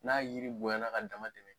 N'a yiri bonyana k'a dama tɛmɛ.